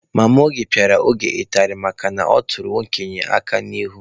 Mama Oge pịara Oge ụtarị makana ọ tụrụ okenye aka n'ihu.